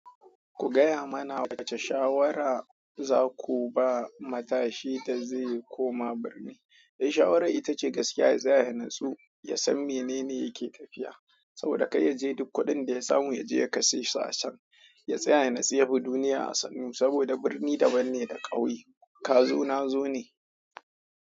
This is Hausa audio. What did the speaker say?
Ku gaya mana wace shawara za ku ba matashi da zai koma birni? Dai shawara ita ce gaskiya ya tsaya ya natsu, ya san menene yake tafiya. Saboda kar yaje duk kuɗin da ya samu yaje ya kashe su a can, ya tsaya ya nutsu ya bi duniya a sannu, saboda birni da banne da ƙauye, kazo nazo ne.